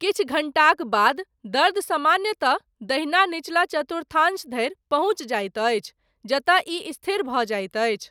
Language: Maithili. किछु घण्टाक बाद, दर्द सामान्यतः, दहिना निचला चतुर्थांश धरि, पहुञ्चि जाइत अछि, जतय ई स्थिर भऽ जाइत अछि।